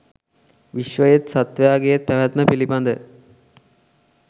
විශ්වයේත් සත්වයාගේත් පැවැත්ම පිළිබඳ